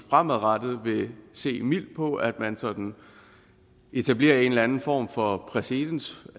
fremadrettet vil se mildt på at man sådan etablerer en eller anden form for præcedens